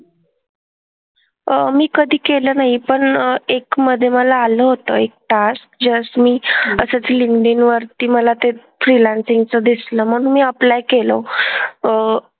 अह मी कधी केलं नाही आहे पण एक मधे मला आलं होतं एक task. Just मी असंच लिंक्डइन वरती मला ते freelancing चं दिसलं म्हणून मी apply केलं. अह